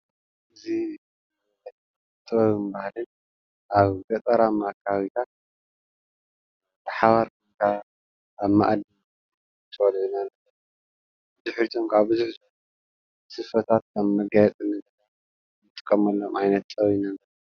እዚ ጥበብን ባህሊን ኣብ ገጠርማ ኣከባቢታት ብሓባር ኮይንካ ኣብ ማኣዲ ብጭው በልዒና ድሕርኡ ካዓ ሰፍታት ከም መጋየፀ ንጥቀመሎም ዓይነት ጥበበኛ